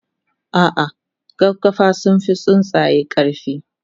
ah ah gaggafa sunfi tsuntsaye karfi